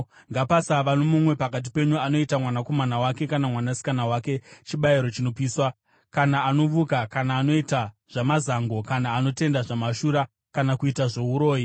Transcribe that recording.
Ngapasava nomumwe pakati penyu anoita mwanakomana wake kana mwanasikana wake chibayiro chinopiswa, kana anovuka kana anoita zvamazango kana anotenda zvamashura, kana kuita zvouroyi,